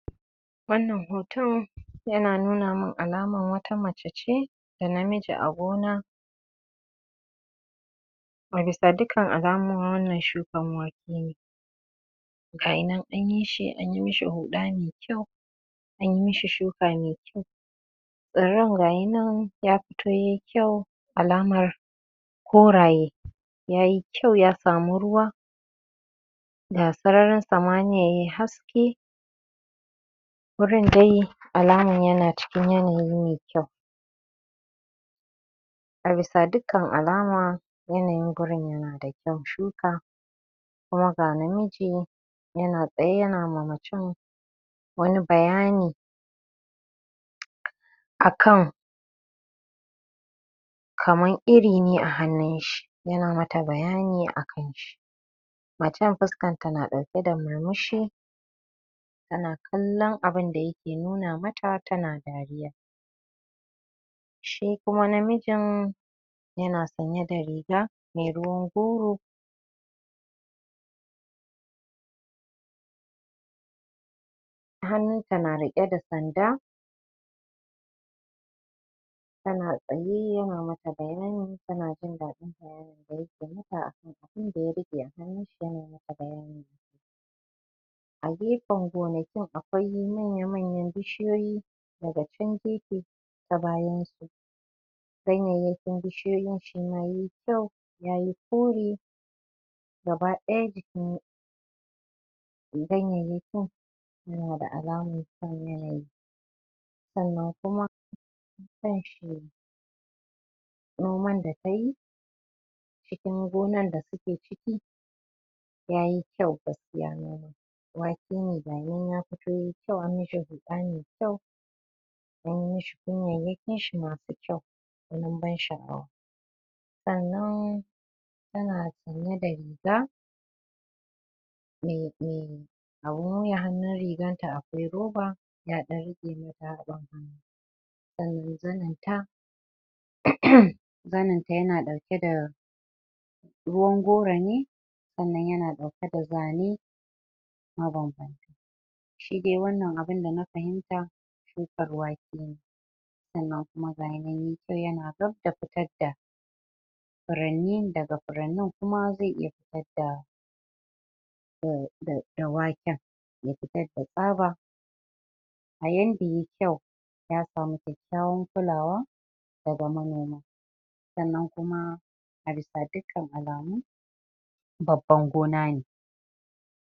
Wannan hoto yana nuna min alaman wata mace ce da namiji a gona a bisa dukkan alamu wannan shukan wake ne gayi nan anyi shi, anyi mishi huɗa mai kyau anyi mishi shuka mai kyau tsirran gayi nan ya fito ye kyau alamar koraye yayi kyau ya samu ruwa ga sararin samaniya yai haske gurin dai alaman yana cikin yanayi mai kyau a bisa dukkan alama yanayin gurin yana da kyan shuka kuma ga namiji yana tsaye yana ma macen wani bayani akan kaman iri ne a hannun shi yana mata bayani akanshi macen fuskanta na ɗauke da murmushi tana kallan abunda yake nuna mata tana dariya shi kuma namijin yana sanye da riga mai ruwan goro hannunsa na riƙe da sanda yana tsaye yana mata bayani tana jin daɗin da yake mata abinda ya riƙe a hannunsa yana mata bayani a gefen gonakin akwai manya-manyan bishiyoyi daga chan gefe ta bayan su ganyeyyakin bishiyoyin kyau yayi kore gaba ɗaya jikin ganyeyyakin suna da alaman kyan yanayi sannan kuma kanshi noman da ta yi cikin gonan da suke ciki yayi kyau gaskiya noman wake ne gayi nan ya fito yai kyau, an mishi huɗa mai kyau an yi mishi kunyayyakin shi masu kyau gwanin ban sha'awa sannan tana sanye da riga mai mai abun wuya hannun riganta akwai roba ya ɗan riƙe mata haɓan sannan zaninta [uhhm] zaninta yana ɗauke da ruwan goro ne sannan yana ɗauke da zane mabanbanta shi dai wannan abunda na fahimta shukar wake ne sannan kuma gayi nan yayi kyau yana gab da fitar da furanni, daga furannin kuma zai iya fitar da da waken ya fitar da tsaba a yanda ya yi kyau ya samu kyakkyawan kulawa daga manoma sannan kuma a bisa dukkan alamu babban gona ne